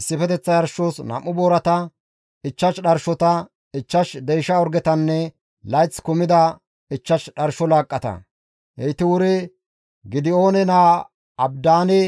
issifeteththa yarshos 2 boorata, 5 dharshota, 5 deysha orgetanne layth kumida 5 dharsho laaqqata; heyti wuri Gidi7oone naa Abidaane